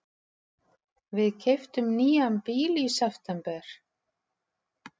Við keyptum nýjan bíl í september.